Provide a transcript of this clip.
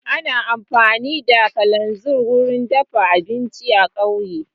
Ana amfani da kananzir wurin dafa abinci a kauye